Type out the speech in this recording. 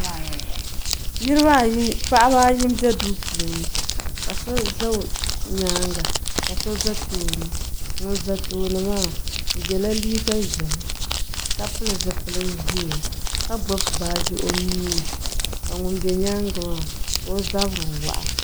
Niriba ayi paɣaba ayi be duu puuni ka so za o nyaanga ka so za tooni ŋun za tooni maa o yɛla neen ʒɛhi ka pili zupil ʒɛɛ ka gbubi baaji o nuuni ka ŋun be nyaanga maa ka o zabiri wɔɣa